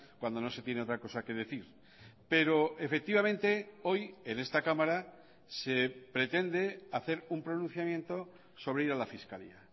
cuando no se tiene otra cosa que decir pero efectivamente hoy en esta cámara se pretende hacer un pronunciamiento sobre ir a la fiscalía